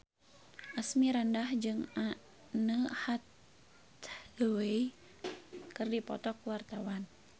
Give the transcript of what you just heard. Asmirandah jeung Anne Hathaway keur dipoto ku wartawan